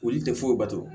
Olu tɛ foyi bato